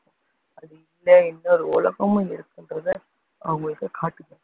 அது இல்லை, இன்னொரு உலகமும் இருக்குன்றதை அவங்களுக்கு காட்டுங்க